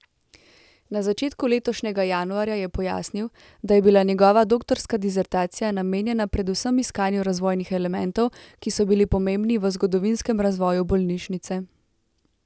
Na začetku letošnjega januarja je pojasnil, da je bila njegova doktorska disertacija namenjena predvsem iskanju razvojnih elementov, ki so bili pomembni v zgodovinskem razvoju bolnišnice.